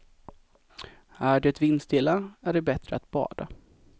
Är det vindstilla är det bättre att bada.